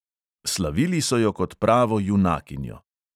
Slavili so jo kot pravo junakinjo.